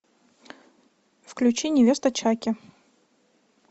включи невеста чаки